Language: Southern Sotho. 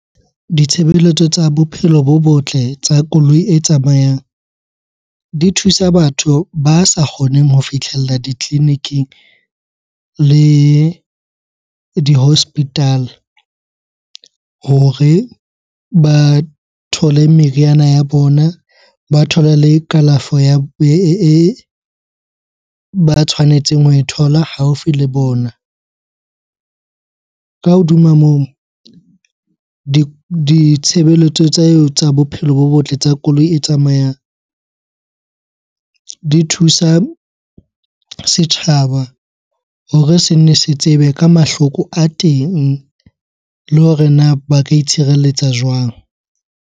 Ditshebeletso tsa bophelo bo botle tsa koloi e tsamayang di thusa batho ba sa kgoneng ho fihlella ditleliniking le di hospital hore ba thole meriana ya bona, ba thole le kalafo ya, e ba tshwanetseng ho e thola haufi le bona. Ka hodima moo, ditshebeletso tsa eo tsa bophelo bo botle tsa koloi e tsamayang, di thusa setjhaba hore se nne se tsebe ka mahloko a teng le hore na ba ka itshireletsa jwang?